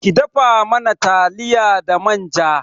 Ki dafa mana taliya da manja